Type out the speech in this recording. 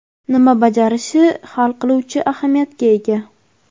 nima bajarishi hal qiluvchi ahamiyatga ega.